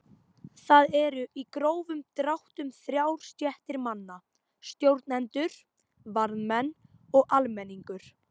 Þar eru í grófum dráttum þrjár stéttir manna: Stjórnendur, varðmenn og almenningur.